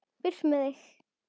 Burt með þig.